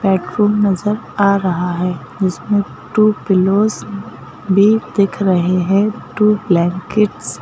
bedroom नजर आ रहा है जिसमें टू पिलोज भी दिख रहे हैं टू ब्लैंकेट्स --